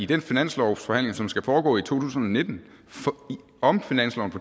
den finanslovsforhandling som skal foregå i to tusind og nitten om finansloven